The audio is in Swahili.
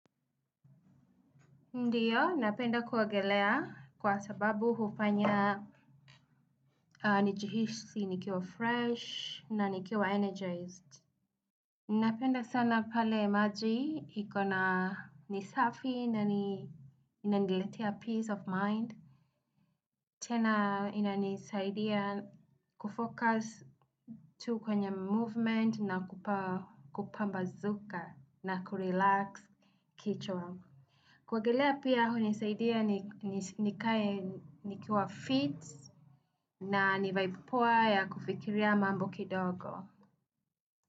Ndio, napenda kuogelea kwa sababu hufanya niji hisi nikiwa fresh na nikiwa energized. Napenda sana pale maji iko na ni safi na inaniletea peace of mind. Tena ina nisaidia kufocus tu kwenye movement na kupambazuka na kurelax kichwa. Kuogelea pia hunisaidia pia nikae nikiwa fit na ni vaibu poa ya kufikiria mambo kidogo.